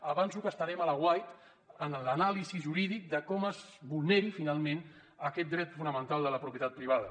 avanço que estarem a l’aguait en l’anàlisi jurídica de com es vulneri finalment aquest dret fonamental de la propietat privada